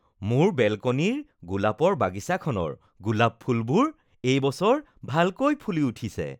মোৰ বেলকনিৰ গোলাপৰ বাগিচাখনৰ গোলাপ ফুলবোৰ এই বছৰ ভালকৈ ফুলি উঠিছে